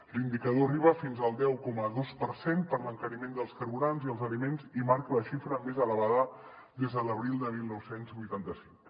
l’indicador arriba fins al deu coma dos per cent per l’encariment dels carburants i els aliments i marca la xifra més elevada des de l’abril de dinou vuitanta cinc